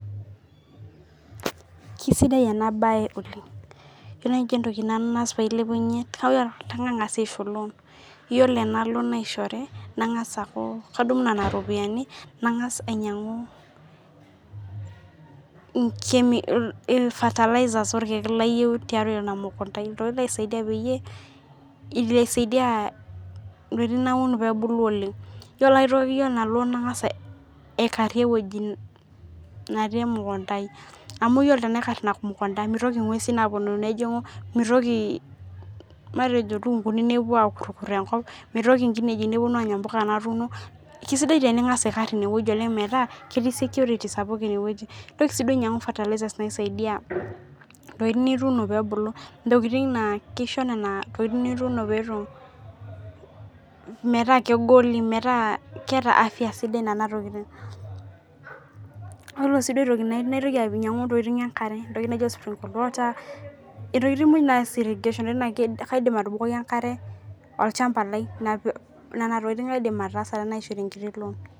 Kisidai ena mbae oleng ore najii entoki naas pee ailepunye kadamu loan ore ena loan naishori neeku kadunu Nena ropiani nang'as ainyiang'u fertilizers orkeek layieu teina mukunda ai entokitin nisaidia pee ebulu oleng ore ena loan nang'as aikarie ewueji netii emukunda ai amu ore tanakata tenaikar ena mukunda mitoki eng'uesi ashu elukunguni nepuo akurukur enkop mitoki enkineji Anya mbuka natunoo kisidai teningas aikar enewueji metaa ketii security sapuk enewueji nintoki sii ainyiang'u fertilizers pee esaidia ntokitin nituno pee ebulu ntokitin naa kisho Nena tokitin nituno metaa keeta afya sidai yiolo aitoki a enkare entokitin pookin naas irrigation kaidim atubukoki enkare olchamba lai Nena tokitin aidim ataasa tenasihori enkiti loan